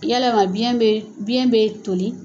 Ylama biyɛn bɛ biyɛn bɛ toli